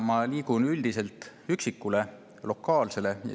Ma liigun üldiselt üksikule, lokaalsele.